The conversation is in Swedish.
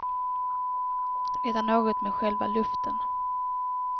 Det är något med själva luften.